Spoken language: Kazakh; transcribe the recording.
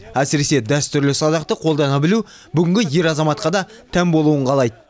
әсірісе дәстүрлі садақты қолдана білу бүгінгі ер азаматқа да тән болуын қалайды